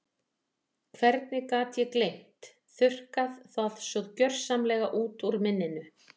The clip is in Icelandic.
Hvernig gat ég gleymt, þurrkað það svona gjörsamlega út úr minninu?